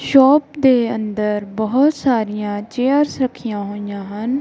Shop ਦੇ ਅੰਦਰ ਬਹੁਤ ਸਾਰੀਆਂ ਚੇਅਰਸ ਰੱਖੀਆਂ ਹੋਈ ਆਂ ਹਨ।